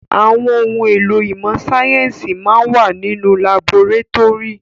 Àwọn ohun èlò ìmọ̀ síáyẹ́nsì máa ń wà nínú laborétórì.